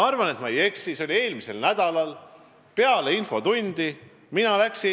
See oli eelmisel nädalal peale infotundi – ma arvan, et ma ei eksi.